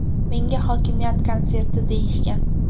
Menga hokimiyat konserti deyishgan.